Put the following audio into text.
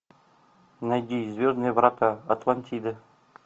найди звездные врата атлантида